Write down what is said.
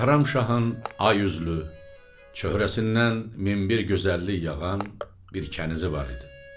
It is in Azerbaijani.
Bəhramşahın ay üzlü çöhrəsindən min bir gözəllik yağan bir kənizi var idi.